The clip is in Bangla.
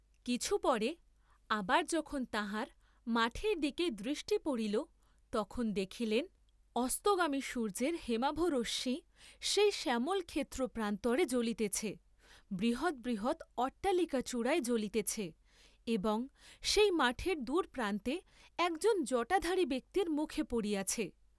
কিছু পরে আবার যখন তাঁহার মাঠের দিকে দৃষ্টি পড়িল তখন দেখিলেন, অস্তগামী সূর্য্যের হেমাভ রশ্মি সেই শ্যামলক্ষেত্র প্রান্তরে জ্বলিতেছে, বৃহৎ বৃহৎ অট্টালিকা চূড়ায় জ্বলিতেছে, এবং সেই মাঠের দূরপ্রান্তে একজন জটাধারী ব্যক্তির মুখে পড়িয়াছে।